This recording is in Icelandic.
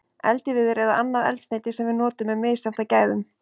Eldiviður eða annað eldsneyti sem við notum er misjafnt að gæðum.